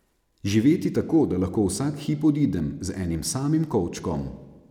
Živeti tako, da lahko vsak hip odidem, z enim samim kovčkom.